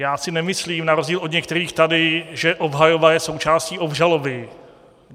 Já si nemyslím, na rozdíl od některých tady, že obhajoba je součástí obžaloby.